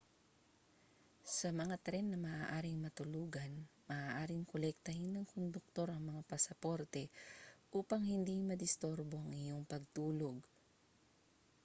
sa mga tren na maaaring matulugan maaaring kolektahin ng konduktor ang mga pasaporte upang hindi madisturbo ang iyong pagtulog